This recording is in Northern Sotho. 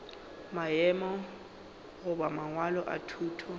maemo goba mangwalo a thuto